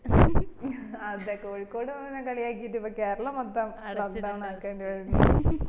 അതെ കോഴിക്കോട് പോന്നേനെ കളിയാക്കിട്ട് ഇപ്പം കേരളം മൊത്തം lockdown ആകേണ്ടി വന്നു